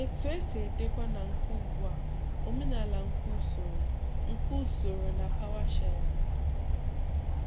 Etu esi edekwa na nke ugbu a omenala nke usoro nke usoro na PowerShell?